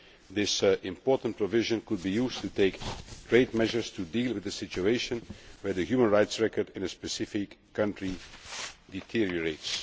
This important provision can be used to take trade measures to deal with the situation where the human rights record in a specific country deteriorates.